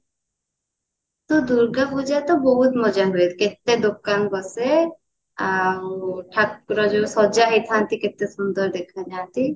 ତୁ ଦୂର୍ଗା ପୂଜାରେ ତ ବହୁତ ମଜା କରନ୍ତି କେତେ ଦୋକାନ ବସେ ଆଉ ଠାକୁର ଠାକୁର ଯୋଉ ସଜା ହେଇଥାନ୍ତି କେତେ ସୁନ୍ଦର ଦେଖା ଯାଇଥାନ୍ତି